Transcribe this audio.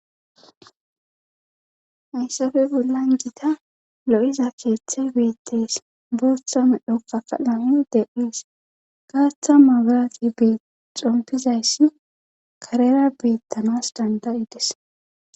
hayssafe bollan jita lo7iza keeththe beetteys bootha medhokka kadham de7iis gaaththa maagaraqi bee xompizayssi karera beettanas danda7ides